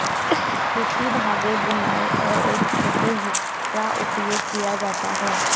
सूती धागे बुनाई और एक छोटे हुक का उपयोग किया जाता है